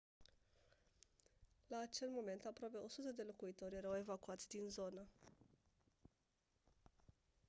la acel moment aproape 100 de locuitori erau evacuați din zonă